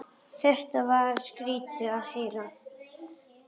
Þetta var skrýtið að heyra.